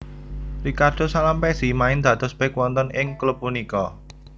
Ricardo Salampessy main dados bek wonten ing klub punika